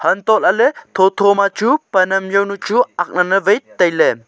antohlaley thotho ma chu pan am jawnu chu aknawai tailey.